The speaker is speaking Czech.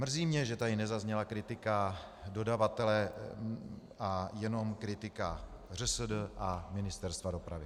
Mrzí mě, že tady nezazněla kritika dodavatele, a jenom kritika ŘSD a Ministerstva dopravy.